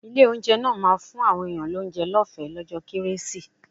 Ilé-oúnjẹ náà ma fún àwọn èèyàn lóúnjẹ lọ́ọ̀fẹ́ lọ́jọ́ kérésì.